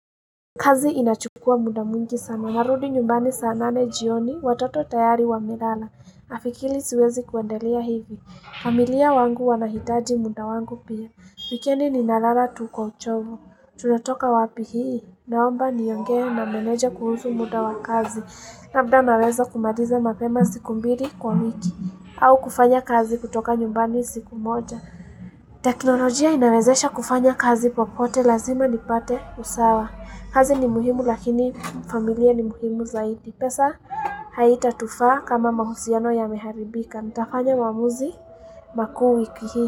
Kazi inachukua muda mwingi sana. Narudi nyumbani saa nane jioni watoto tayari wamelala. Nafikili siwezi kuendalia hivi. Familia wangu wanahitaji muda wangu pia. Hhh wikendi ninalala tu kwa uchovo. Tuna toka wapi hii. Naomba nionge na meneja kuhusu muda wa kazi. Labda naweza kumaliza mapema siku mbili kwa wiki. Au kufanya kazi kutoka nyumbani siku moja. Teknolojia inawezesha kufanya kazi popote lazima nipate usawa. Kazi ni muhimu lakini familia ni muhimu zaidi. Pesa haitatufaa kama mahusiano yameharibika. Ntafanya maamuzi maku wiki hii.